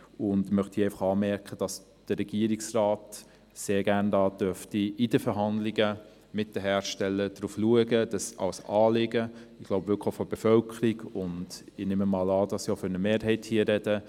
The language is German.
Ich möchte anmerken, dass der Regierungsrat sehr gerne bei den Verhandlungen mit den Herstellern darauf schauen darf dass die EAutos und Akkus umweltfreundlich produziert werden und die Menschenrechte respektiert werden.